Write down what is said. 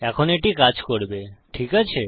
এখন এটি কাজ করবে ঠিক আছে